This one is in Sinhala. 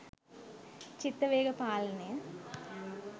චිත්ත වේග පාලනය,